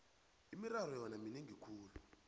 imirharho yona minengi khulu